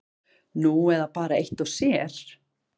Nú eða bara eitt og sér.